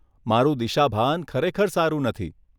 મારું દિશાભાન ખરેખર સારું નથી.